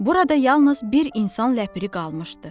Burada yalnız bir insan ləpiri qalmışdı.